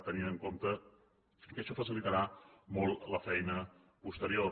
tenint en compte que això facilitarà molt la feina posterior